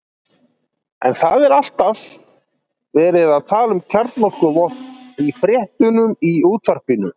En það er alltaf verið að tala um kjarnorkuvopn í fréttunum í útvarpinu.